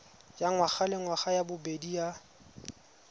ya ngwagalengwaga ya bobedi ya